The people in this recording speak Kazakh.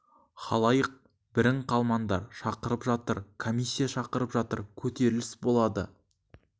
халайық бірің қалмаңдар шақырып жатыр комиссия шақырып жатыр көтеріліс болады